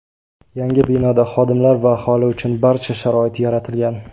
Yangi binoda xodimlar va aholi uchun barcha sharoit yaratilgan.